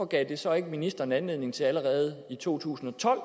gav det så ikke ministeren anledning til allerede i to tusind og tolv